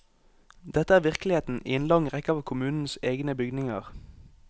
Dette er virkeligheten i en lang rekke av kommunens egne bygninger.